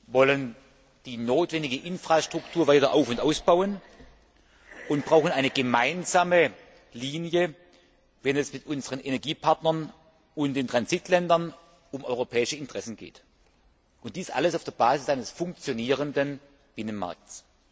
wollen die notwendige Infrastruktur weiter auf und ausbauen und brauchen eine gemeinsame Linie, wenn es mit unseren Energiepartnern und den Transitländern um europäische Interessen geht, und dies alles auf der Basis eines funktionierenden Binnenmarkts.